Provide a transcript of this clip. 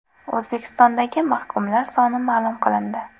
O‘zbekistondagi mahkumlar soni ma’lum qilindi.